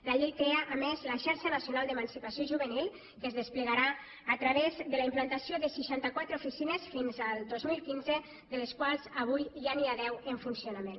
la llei crea a més la xarxa nacional d’emancipació juvenil que es desplegarà a través de la implantació de seixanta quatre oficines fins al dos mil quinze de les quals avui ja n’hi ha deu en funcionament